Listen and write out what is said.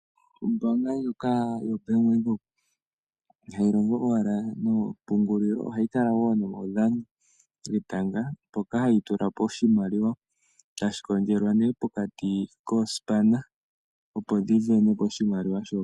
Ombanga ndjoka yoBank Windhoek ihayi longo owala noopungulilo ohayi tala wo nomaudhano getanga mpoka hayi tulapo oshimaliwa tashi kondjelwa nee pokati kosipana opo dhisindanepo oshimaliwa shoka.